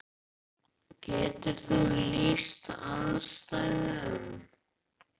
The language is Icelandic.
Það er mjög algeng steind í súru storkubergi.